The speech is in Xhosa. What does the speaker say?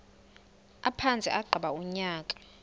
aphantse agqiba unyaka